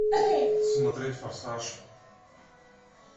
смотреть форсаж